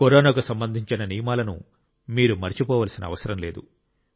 కరోనాకు సంబంధించిన నియమాలను మీరు మరచిపోవలసిన అవసరం లేదు